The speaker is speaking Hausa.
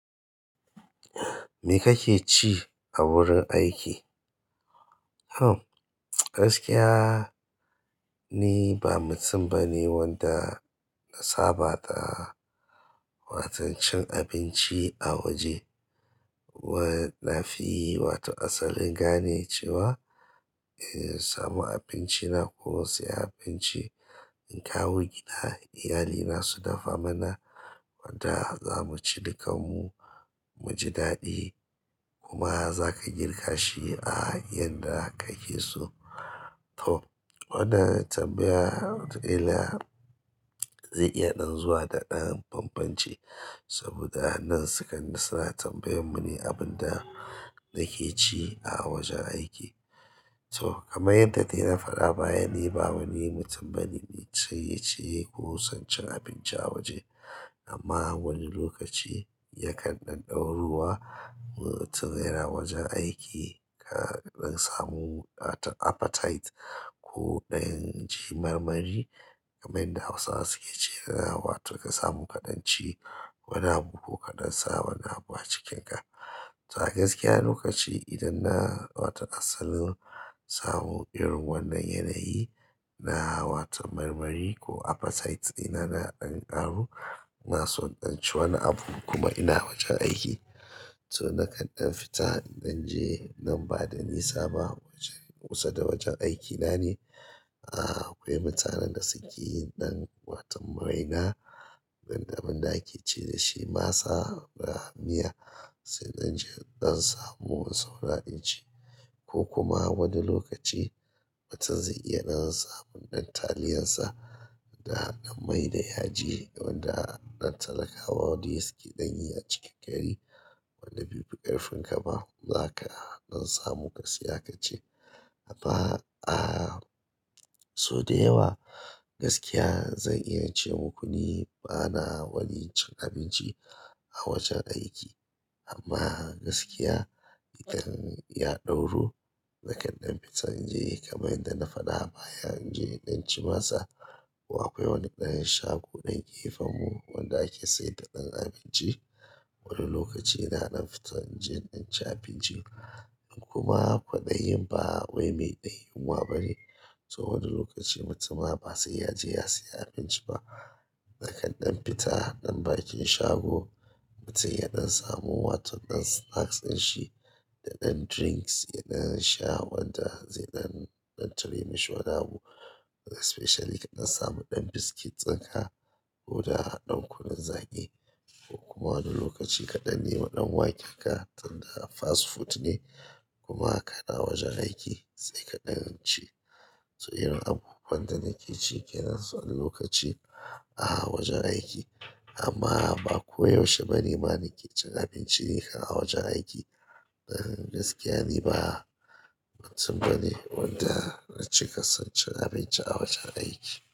Me kake ci a wurin aiki? Hmm, gaskiya ni ba mutum bane wanda na saba da waton cin abinci a waje. Wai-- na fi wato asalin gane cewa in samu abinci na ko in sayi abinci in kawo gida, iyalina su dafa mana wanda za mu ci dukanmu, mu ji daɗi kuma za ka girka shi a yanda ka ke so. To, wannan tambayar dila zai iya nan zuwa da ɗan banbanci saboda nan sukan suna tambayar mune abun da nake ci a wajen aiki. To, kamar yadda dai na faɗa baya ni ba wani mutum bane ne sai ya ciyi ko son cin abinci a waje amma wani lokaci yakan nan ɗoruwa mu tum yana wajen aiki ka nan samu a to appetite ko ɗan ji marmari kaman yanda Hausawa suke cewa wato ka samu kaɗan ci wani abu ko kaɗan sa wani abu a cikinka. To a gaskiya lokaci idan na wato asalin samu irin wannan yanayi na wato marmari ko appetite ina na ɗan ƙaru, ina son ɗan ci wani abu kuma ina wajen aiki. To na kan ɗan fita in dan je nan bada nisa ba wajen kusa da wajen aikina ne. Aaa, akwai mutanen da suke yin ɗan wato maraina, dan da abin da ake ce dashi masa a miya sai in dan je in dan samu saura in ci ko kuma wani lokaci mutum zai iya dan samun ɗan taliyansa da hanƙan mai da yaji wanda nan talakawa dai suke ɗan yi a cikin gari wanda bai fi ƙarfin ka ba za ka dan samu ka siya ka ci. Amma, ah, so da yawa gaskiya zan iya ce muku ni bana wani cin abinci a wajen aiki amma gaskiya idan ya ɗauro na kan ɗan fita in je kamar yadda na faɗa baya in je in ci masa. Ko akwai wani ɗayan shago nan gefen mu wanda ake sayadda ɗan abinci. Wani lokaci ina dan fita in je in dan ci abinci in kuma kwaɗayin ba wai mai ɗanyunwa bane. To wani lokaci mutum ma ba sai ya je ya siya abinci ba. Na kan ɗan fita ɗan bakin shago, mutum ya dan samu wato ɗan snacks dinshi da ɗan drinks ya dan sha wanda zai dan, dan tare mishi wani abu. Especially ka ɗan samu ɗan biscuits ɗinka ko da ɗan kunun zaki ko kuma wani lokaci ka ɗan nima ɗan wakenka tunda fast food ne kuma kana wajen aiki sai kaɗan ci. To irin abubuwan da nake ci ke nan so ɗan lokaci a wajen aiki amma ba ko yaushe bane ma nake cin abinci ni kan a wajen aiki. Eh, gaskiya ni ba mutum bane wanda na cika son cin abinci a wajen aiki.